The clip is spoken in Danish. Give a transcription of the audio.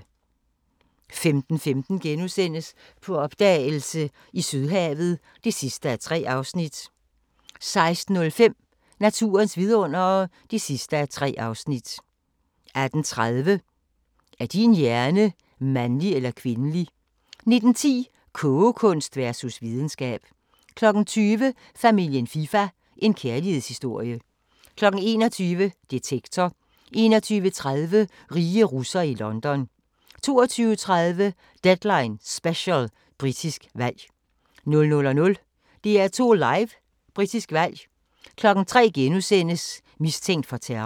15:15: På opdagelse i Sydhavet (3:3)* 16:05: Naturens vidundere (3:3) 18:30: Er din hjerne mandlig eller kvindelig? 19:10: Kogekunst versus videnskab 20:00: Familien FIFA – en kærlighedshistorie 21:00: Detektor 21:30: Rige russere i London 22:30: Deadline Special: Britisk valg 00:00: DR2 Live: Britisk valg 03:00: Mistænkt for terror *